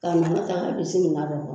Ka minan ta k'a bisi minan dɔ kɔnɔ